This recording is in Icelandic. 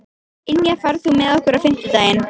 Ynja, ferð þú með okkur á fimmtudaginn?